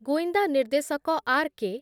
ଗୁଇନ୍ଦା ନିର୍ଦ୍ଦେଶକ ଆର୍ କେ